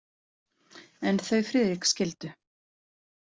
En þau Friðrik skildu.